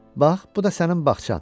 Bax, bu da sənin bağçan.